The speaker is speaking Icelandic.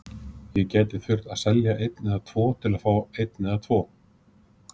Ég gæti þurft að selja einn eða tvo til að fá einn eða tvo.